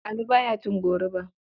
Ali ba ya cin goruba.